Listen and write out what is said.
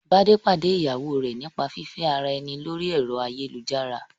Bádé pàdé ìyàwó rẹ̀ nípa fífẹ́ ara ẹni lórí ẹ̀rọ ayélujára